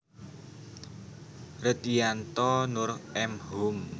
Redyanto Noor M Hum